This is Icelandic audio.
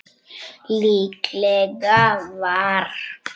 Líklega var